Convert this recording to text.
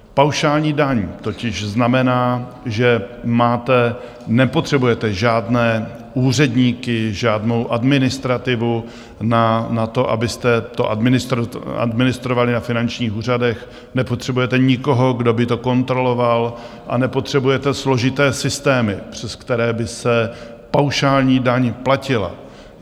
Paušální daň totiž znamená, že nepotřebujete žádné úředníky, žádnou administrativu na to, abyste to administrovali na finančních úřadech, nepotřebujete nikoho, kdo by to kontroloval, a nepotřebujete složité systémy, přes které by se paušální daň platila.